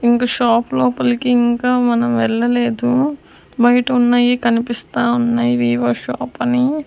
ఇంక షాప్ లోపలకి ఇంకా మనం వెళ్లలేదు బైట ఉన్నయి కనిపిస్తా ఉన్నయి వివో షాప్ అని.